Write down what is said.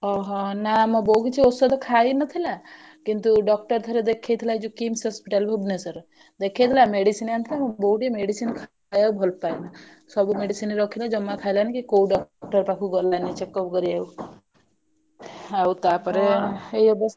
ଓହୋ! ନା ମୋ ବୋଉ କିଛି ଔଷଧ ଖାଇନି ନଥିଲା କିନ୍ତୁ doctor ଥରେ ଦେଖେଇଥିଲା ଯଉ KIMS hospital ଭୁବନେଶ୍ବର ଦେଖେଇଥିଲା medicine ଆଣିଥିଲା ମୋ ବୋଉ ଟିକେ medicine ଖାଆ କୁ ଭଲ ପାଏନା ସବୁ medicine ରଖିଲା ଜମା ଖାଇଲାନି କି କୋଉ doctor ପାଖକୁ ଗଲାନି checkup କରିବାକୁ ଆଉ ତା ପରେ ଏଇ ଅବସ୍ଥା।